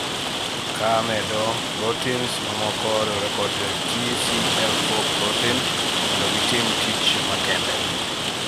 kamedo, proteins mamoko riwre kod TCF4 protein mondo gitim tich makende